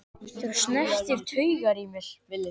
Þú snertir taugar í mér.